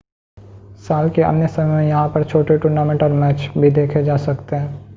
साल के अन्य समय में यहां पर छोटी टूर्नामेंट और मैच भी देखे जा सकते हैं